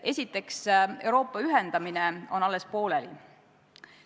Esiteks, Euroopa ühendamine on alles pooleli.